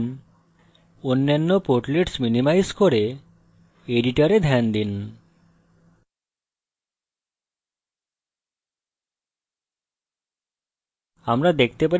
এখন অন্যান্য portlets minimize করে editor ধ্যান দিন